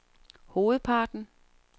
hovedparten